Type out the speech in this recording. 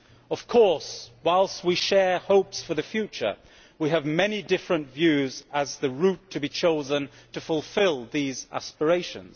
Of course, while we share hopes for the future, we have many different views about the route to be chosen to fulfil these aspirations.